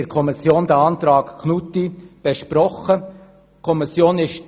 der SiK. Wir haben diesen Antrag Knutti in der Kommission besprochen.